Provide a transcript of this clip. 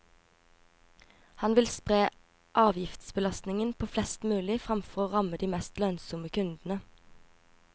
Han vil spre avgiftsbelastningen på flest mulig fremfor å ramme de mest lønnsomme kundene.